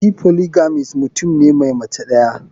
Shi polygamist mutum ne Mai Mace daya.